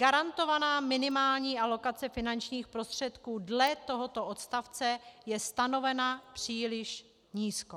Garantovaná minimální alokace finančních prostředků dle tohoto odstavce je stanovena příliš nízko.